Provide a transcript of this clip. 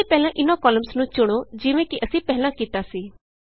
ਇਸ ਲਈ ਪਹਿਲਾਂ ਇਹਨਾਂ ਕਾਲਮਸ ਨੂੰ ਚੁਣੋ ਜਿਵੇਂ ਕਿ ਅਸੀਂ ਪਹਿਲਾਂ ਕੀਤਾ ਸੀ